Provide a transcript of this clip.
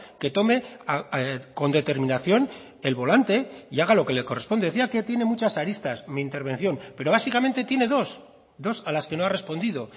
que tome con determinación el volante y haga lo que le corresponde decía que tiene muchas aristas mi intervención pero básicamente tiene dos dos a las que no ha respondido